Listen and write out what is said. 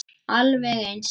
Alveg eins.